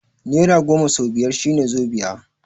Nera goma sau biyar shine zobiya